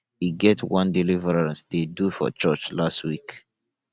e get one deliverance dey do for church last week